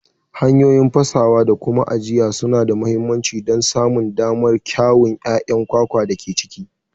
Hanyoyi fasawa da kyau da kuma ajiya suna da mahimmanci don samun damar kyawun ƴaƴan kwakwar da ke ciki.